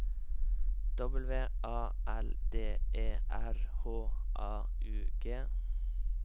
W A L D E R H A U G